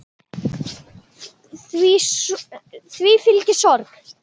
Því fylgi sorg.